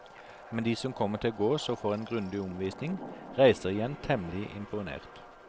Men de som kommer til gårds og får en grundig omvisning, reiser igjen temmelig imponert.